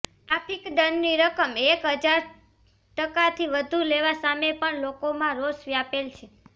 traffic દંડની રકમ એક હજાર ટકાથી વધુ લેવા સામે પણ લોકોમાં રોષ વ્યાપેલ છે